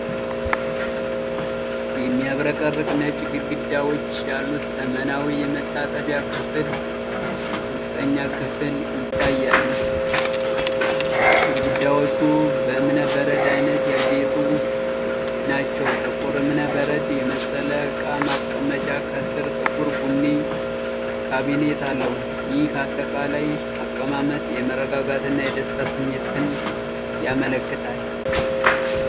የሚያብረቀርቅ ነጭ ግድግዳዎች ያሉት ዘመናዊ የመታጠቢያ ክፍል ውስጠኛ ክፍል ይታያል። ግድግዳዎቹ በእብነ በረድ ዓይነት ያጌጡ ናቸው። ጥቁር እብነ በረድ የመሰለ ዕቃ ማስቀመጫ ከስር ጥቁር ቡኒ ካቢኔት አለው። ይህ አጠቃላይ አቀማመጥ የመረጋጋትና የደስታ ስሜትን ያመለክታል።